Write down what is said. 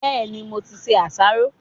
Bẹ́ẹ̀ni, mo ti se àsáró.